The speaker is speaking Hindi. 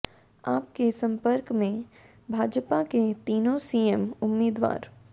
आप के संपर्क में भाजपा के तीनों सीएम उम्मीदवार